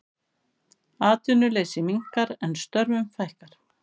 Atvinnuleysi minnkar en störfum fækkar